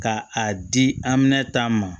Ka a di anminɛ ta ma